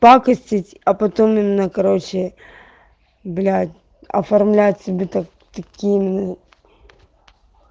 пакостить а потом именно короче блядь оформлять себе такими